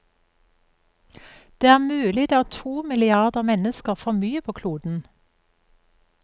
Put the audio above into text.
Det er mulig det er to milliarder mennesker for mye på kloden.